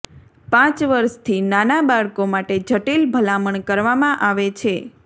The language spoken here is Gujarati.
પાંચ વર્ષથી નાના બાળકો માટે જટિલ ભલામણ કરવામાં આવે છે